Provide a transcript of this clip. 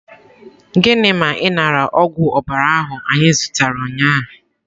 Gịnị ma ị nara ogwụ ọbara ahụ anyị zụtara ụnyahụ?